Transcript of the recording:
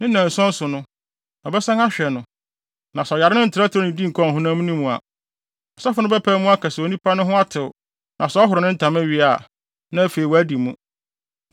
Ne nnanson so no, ɔbɛsan ahwɛ no, na sɛ ɔyare no ntrɛtrɛw nnidi nkɔɔ ɔhonam no mu a, ɔsɔfo no bɛpae mu aka se onipa no ho atew na sɛ ɔhoro ne ntama wie a, na afei wadi mu.